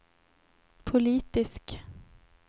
politisk